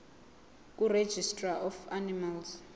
kuregistrar of animals